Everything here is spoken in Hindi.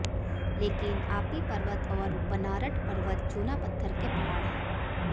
लेकिन आपी पर्वत और बनारट पर्वत चूना पत्थर के पहाड़ हैं